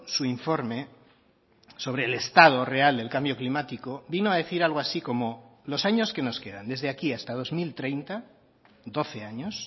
su informe sobre el estado real del cambio climático vino a decir algo así como los años que nos quedan desde aquí hasta dos mil treinta doce años